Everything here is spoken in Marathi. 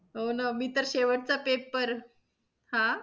हो ना, मी तर शेवटचा paper हा.